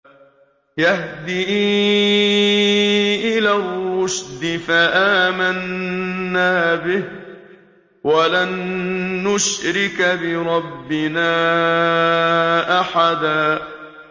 يَهْدِي إِلَى الرُّشْدِ فَآمَنَّا بِهِ ۖ وَلَن نُّشْرِكَ بِرَبِّنَا أَحَدًا